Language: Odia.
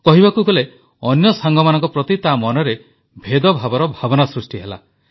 କହିବାକୁ ଗଲେ ଅନ୍ୟ ସାଙ୍ଗମାନଙ୍କ ପ୍ରତି ତା ମନରେ ଭେଦଭାବର ଭାବନା ସୃଷ୍ଟି ହେଲା